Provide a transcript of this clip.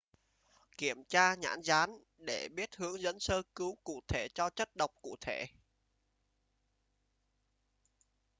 kiếm tra nhãn dán để biết hướng dẫn sơ cứu cụ thể cho chất độc cụ thể